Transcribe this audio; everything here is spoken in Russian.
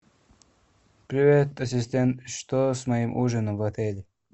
привет ассистент что с моим ужином в отеле